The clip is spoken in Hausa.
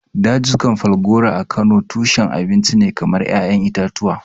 Dazukan Falgore a Kano tushen abinci ne kamar ƴaƴan itatuwa.